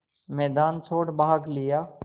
मैदान छोड़ भाग लिया